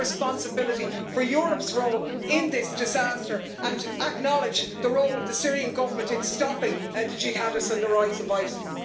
Take responsibility for Europe's role in this disaster and acknowledge the role of the Syrian Government in stopping the jihadists and the rise of ISIS.